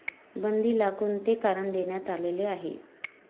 बंदी ला कोणते कारण देण्यात आलेले आहे?